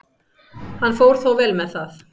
Hann fór þó vel með það.